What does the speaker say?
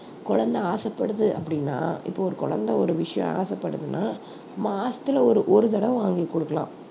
குழந்தை ஆசைப்படுது அப்படின்னா இப்போ ஒரு குழந்தை ஒரு விஷயம் ஆசைப்படுதுன்னா மாசத்துல ஒரு ஒரு தடவ வாங்கி குடுக்கலாம்